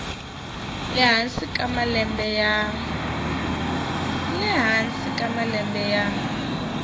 le hansi ka malembe ya